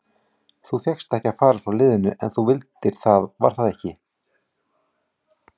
Þú fékkst ekki að fara frá liðinu en þú vildir það var það ekki?